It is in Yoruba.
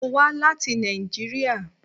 Mo wa lati Nàìjíríà.